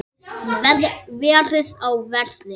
Verið á verði.